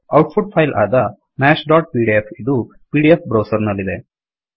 out ಪುಟ್ file ಆದ mathsಪಿಡಿಎಫ್ ಇದು ಪಿಡಿಎಫ್ ಬ್ರೌಸರ್ ನಲ್ಲಿದೆ